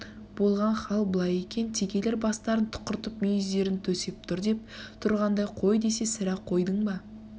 болған хал былай екен текелер бастарын тұқыртып мүйіздерін төсеп тұр деп тұрғандай қой десе сірә қойдыңба